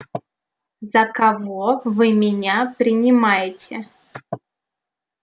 за кого вы меня принимаете